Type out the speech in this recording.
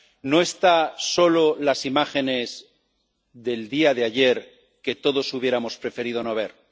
No están solo las imágenes del día de ayer que todos hubiéramos preferido no ver.